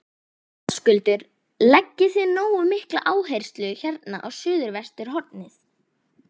Höskuldur: Leggið þið nógu mikla áherslu hérna á suðvesturhornið?